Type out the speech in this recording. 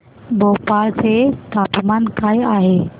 भोपाळ चे तापमान काय आहे